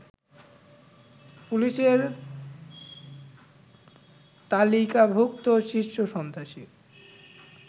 পুলিশের তালিকাভুক্ত শীর্ষ সন্ত্রাসী